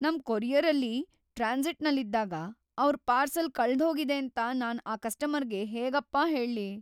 ನಮ್‌ ಕೊರಿಯರಲ್ಲಿ ಟ್ರಾನ್ಸಿಟ್‌ನಲ್ಲಿದ್ದಾಗ ಅವ್ರ್ ಪಾರ್ಸೆಲ್ ಕಳ್ದ್‌ಹೋಗಿದೇಂತ ನಾನ್‌ ಆ ಕಸ್ಟಮರ್‌ಗೆ ಹೇಗಪ್ಪಾ ಹೇಳ್ಲಿ.